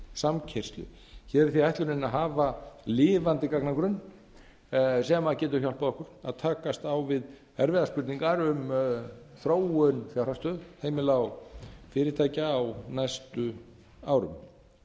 samkeyrslu hér er því ætlunin að hafa lifandi gagnagrunn sem getur hjálpað okkur að takast á við erfiðar spurningar um þróun fjárhagsstöðu heimila og fyrirtækja á næstu árum ástæðan